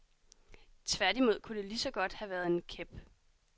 Tværtimod kunne det ligeså godt have været en kæp.